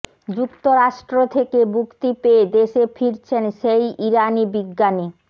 যুক্তরাষ্ট্র থেকে মুক্তি পেয়ে দেশে ফিরছেন সেই ইরানি বিজ্ঞানী